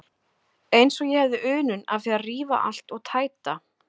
Eins og ég hefði unun af því að rífa allt og tæta.